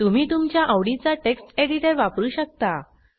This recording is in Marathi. तुम्ही तुमच्या आवडीचा टेक्स्ट एडिटर वापरू शकता